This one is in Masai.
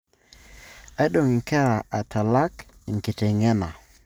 Aidong nkera atalang enkitengena.